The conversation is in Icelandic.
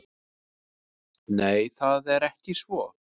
Nei, það er ekki svo.